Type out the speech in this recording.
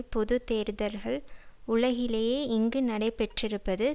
பொது தேர்தல்கள் உலகிலேயே இங்கு நடைபெற்றிருப்பது